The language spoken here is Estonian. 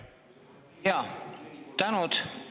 Jaa, suur tänu!